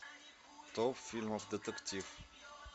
топ фильмов детектив